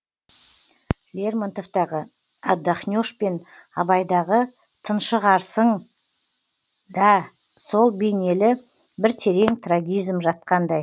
лермонтовтағы отдохнешь пен абайдағы тыншығарсыңда сол бейнелі бір терең трагизм жатқандай